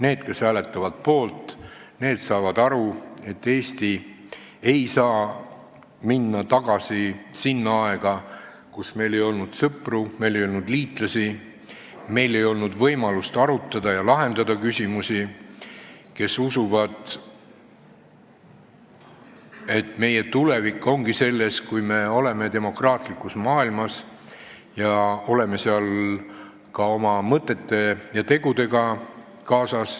Need, kes hääletavad poolt, saavad aru, et Eesti ei saa minna tagasi sinna aega, kui meil ei olnud sõpru ega liitlasi, kui meil ei olnud võimalust arutada ega lahendada küsimusi, ning kes usuvad, et meie tulevik on see, kui me oleme demokraatlikus maailmas koos oma mõtete ja tegudega.